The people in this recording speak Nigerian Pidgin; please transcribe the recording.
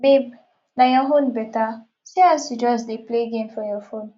babe na your own beta see as you just dey play game for your phone